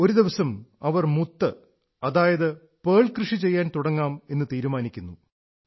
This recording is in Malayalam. ഒരു ദിവസം അവർ മുത്ത് അതായത് പേൾ കൃഷി ചെയ്യാൻ തുടങ്ങാം എന്നു തീരുമാനിക്കുന്നു